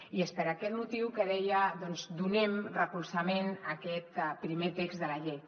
i és per aquest motiu que deia doncs donem recolzament a aquest primer text de la llei